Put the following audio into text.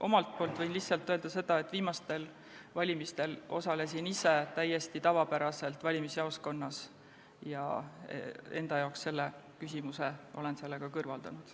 Omalt poolt võin öelda lihtsalt seda, et viimastel valimistel osalesin ma ise täiesti tavapäraselt valimisjaoskonnas ja enda jaoks olen selle küsimuse sellega kõrvaldanud.